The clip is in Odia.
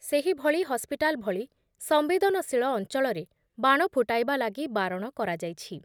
ସେହିଭଳି ହସ୍ପିଟାଲ୍ ଭଳି ସମ୍ବେଦନଶୀଳ ଅଞ୍ଚଳରେ ବାଣ ଫୁଟାଇବା ଲାଗି ବାରଣ କରାଯାଇଛି ।